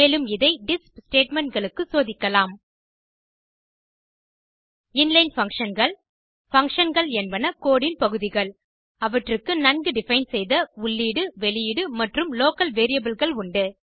மேலும் இதை டிஸ்ப் statementகளுக்கு சோதிக்கலாம் இன்லைன் Functionகள் Functionகள் என்பன கோடு ன் பகுதிகள் அவற்றுக்கு நன்கு டிஃபைன் செய்த உள்ளீடு மற்றும் வெளியீடு மற்றும் லோக்கல் variableகள் உண்டு